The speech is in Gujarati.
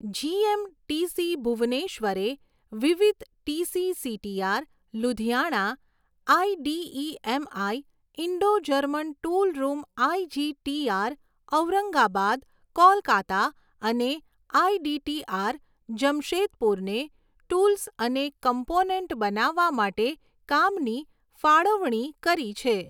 જીએમ, ટીસી ભુવનેશ્વરે વિવિધ TC CTR, Ludhiana, IDEMI, Indo German tool room IGTR, Aurangabad, Kolkata અને આઇડીટીઆર, જમશેદપુરને ટૂલ્સ અને કમ્પોનેન્ટ બનાવવા માટે કામની ફાળવણી કરી છે.